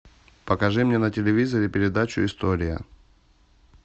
покажи мне на телевизоре передачу история